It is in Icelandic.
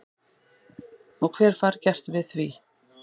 Og hver fær gert við því?